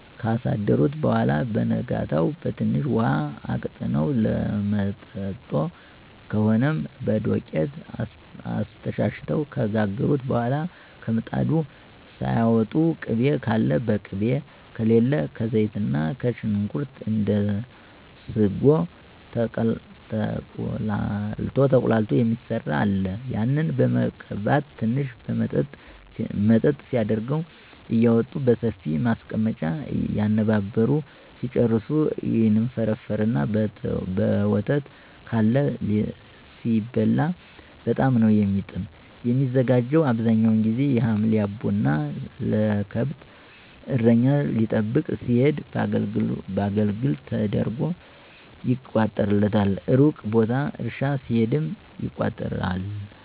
ካሳደሩት በኋላ በነጋታው በትንሽ ውሀ አቅጥነው ሎምጥጦ ከሆነም በዶቄት አስተሻሽተው ከጋገሩ በኋላ ከምጣዱ ሳያወጡ ቅቤ ካለ በቅቤ ከሌለ ከዘይትና ሽንኩርት እንደ ስጎ ተቁላልቶ የሚሰራ አለ ያንን በመቀባት ትንሽ መጠጥ ሲያደርገው እያወጡ በሰፊ ማስቀመጫ እየነባበሩ ሲጨርሱ ይንፈረፈርና በወተት (ካለ) ሲበላ በጣም ነው የሚጥም። የሚዘጋጀው አብዛኛውን ጊዚ የሀምሌ አቦ እና ለከብት እረኛ ሊጠብቅ ሲሄድ በአገልግል ተደርጎ ይቋጠርለታል። እሩቅ ቦታ እርሻ ሲሄድም ይቋጠራል።